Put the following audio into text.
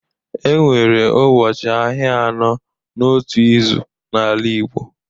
E nwere ụbọchị ahịa anọ n’otu izu n’ala Igbo.